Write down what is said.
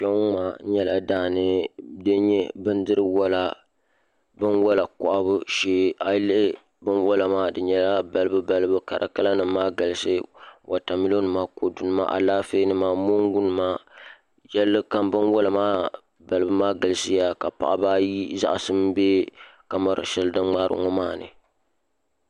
Kpɛ ŋo maa nyɛla daani din nyɛ binwola kohabu shee a yi lihi binwola maa di nyɛla balibu balibu ka di kala nim maa galisi wotamilo nima kodu nima Alaafee nima mongu nima yɛlli kam binwola maa galisiya ka paɣaba ayi zaŋsim bɛ kamɛra shɛli din ŋmaari ŋo maa ni